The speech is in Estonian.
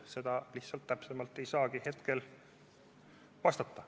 Selle kohta lihtsalt ei saagi hetkel täpsemalt vastata.